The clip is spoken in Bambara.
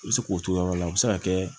I bɛ se k'o t'o yɔrɔ la o bɛ se ka kɛ